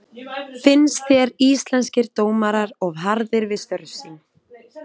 Finnst þér Íslenskir dómarar of harðir við störf sín?